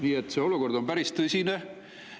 Nii et see olukord on päris tõsine.